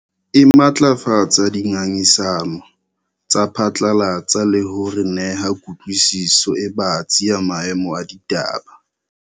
E matlafatsa dingangisano tsa phatlalatsa le ho re neha kutlwisiso e batsi ya maemo a ditaba.